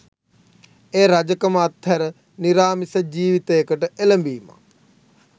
එය රජකම අත්හැර නිරාමිස ජීවිතයකට එළඹීමක්